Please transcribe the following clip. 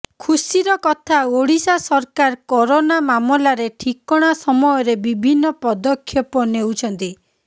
ଖୁସିର କଥା ଓଡ଼ିଶା ସରକାର କରୋନା ମାମଲାରେ ଠିକଣା ସମୟରେ ବିଭିନ୍ନ ପଦକ୍ଷେପ ନେଉଛନ୍ତି